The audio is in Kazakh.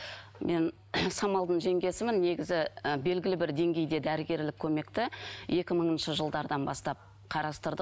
мен самалдың жеңгесімін негізі ы белгілі бір деңгейде дәрігерлік көмекті екі мыңыншы жылдардан бастап қарастырдық